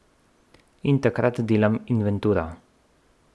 In takrat delam inventuro.